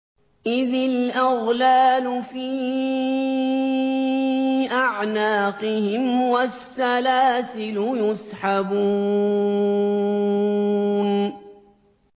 إِذِ الْأَغْلَالُ فِي أَعْنَاقِهِمْ وَالسَّلَاسِلُ يُسْحَبُونَ